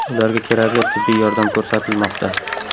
Ularga kerakli tibbiy yordam ko‘rsatilmoqda.